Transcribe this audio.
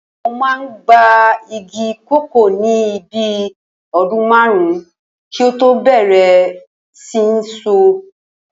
Ó máa ń gba igi kòkó ní bí i o̩dún márùn-ún kí ó tó bè̩rè̩ sí ní so